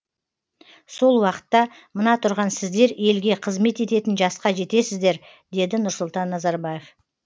сол уақытта мына тұрған сіздер елге қызмет ететін жасқа жетесіздер деді нұрсұлтан назарбаев